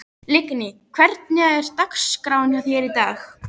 Lingný, hvernig er dagskráin í dag?